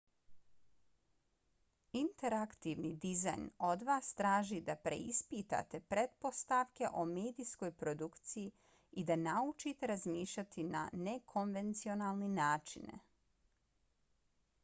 interaktivni dizajn od vas traži da preispitate pretpostavke o medijskoj produkciji i da naučite razmišljati na nekonvencionalne načine